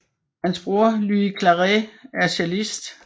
Hans bror Lluís Claret er cellist